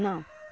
Não.